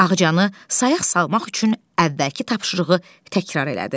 Ağcanı sayaq salmaq üçün əvvəlki tapşırığı təkrar elədi.